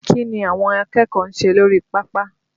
Kí ni àwọn akẹ́kọ̀ọ́ ń ṣe lórí pápá?